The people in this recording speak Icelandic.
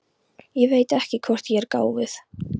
Ég veit ekki hvort ég er gáfuð.